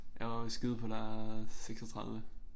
Jeg var skyde på der er 36